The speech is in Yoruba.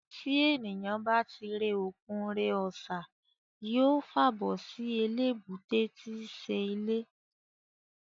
Tí èniyàn bá ti re òkun re ọ̀sà, yóò fàbọ̀ sí eléébúté tíí ṣe ilé